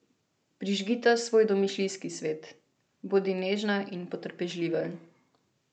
Prižgita svoj domišljijski svet, bodi nežna in potrpežljiva.